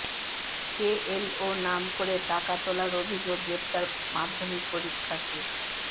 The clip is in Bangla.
কেএলও নাম করে টাকা তোলার অভিযোগ গ্রেফতার মাধ্যমিক পরীক্ষার্থী